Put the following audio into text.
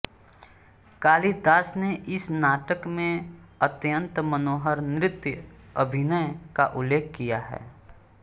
कालिदास ने इस नाटक में अत्यन्त मनोहर नृत्यअभिनय का उल्लेख किया है